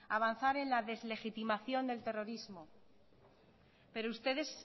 avanzar en la deslegitimación del terrorismo pero ustedes